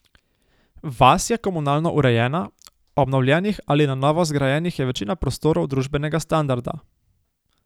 Vas je komunalno urejena, obnovljenih ali na novo zgrajenih je večina prostorov družbenega standarda.